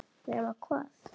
Nema hvað.